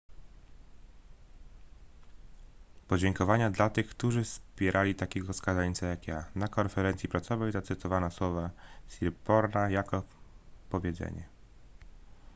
podziękowania dla tych którzy wpierali takiego skazańca jak ja na konferencji prasowej zacytowano słowa siriporna jako powiedzenie